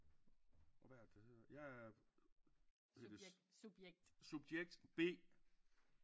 Og hvad er det det hedder jeg er subjekt B